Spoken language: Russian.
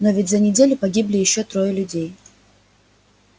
но ведь за неделю погибли ещё трое людей